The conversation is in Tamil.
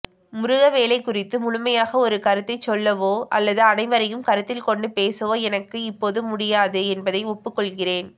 முருகவேளைக் குறித்து முழுமையாக ஒரு கருத்தைச் சொல்லவோ அல்லது அனைவரையும் கருத்தில்கொண்டு பேசவோ எனக்கு இப்போது முடியாது என்பதை ஒப்புக்கொள்கிறேன்